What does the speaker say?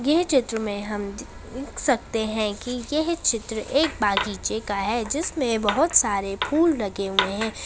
यह चित्र में हम द देख सकते है की यह चित्र एक बगीचे का है जिसमें बहोत सारे फूल लगे हुए हैं।